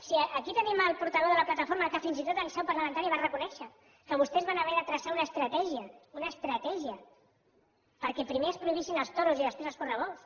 si aquí tenim el portaveu de la plataforma que fins i tot en seu parlamentària ho va reconèixer que vostès van haver de traçar una estratègia una estratègia perquè primer es prohibissin els toros i després els correbous